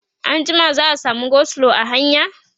anjima za'a samu go slow a hanya?